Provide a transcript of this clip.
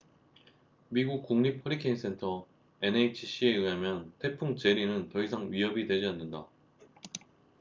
미국 국립 허리케인 센터 nhc에 의하면 태풍 제리는 더 이상 위협이 되지 않는다